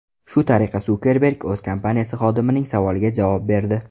Shu tariqa Sukerberg o‘z kompaniyasi xodimining savoliga javob berdi.